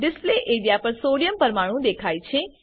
display area પર sodium પરમાણું દેખાય છે